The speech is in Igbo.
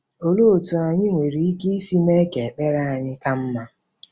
Olee otú anyị nwere ike isi mee ka ekpere anyị ka mma?